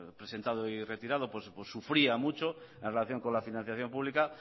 presentado y retirado sufría mucho en relación con la financiación pública